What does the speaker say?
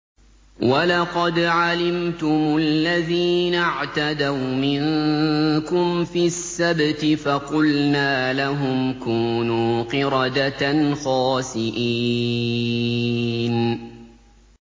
وَلَقَدْ عَلِمْتُمُ الَّذِينَ اعْتَدَوْا مِنكُمْ فِي السَّبْتِ فَقُلْنَا لَهُمْ كُونُوا قِرَدَةً خَاسِئِينَ